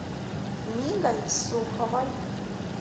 мигой суховой